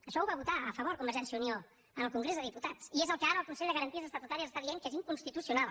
això ho va votar a favor convergència i unió en el congrés dels diputats i és el que ara el consell de garanties estatutàries està dient que és inconstitucional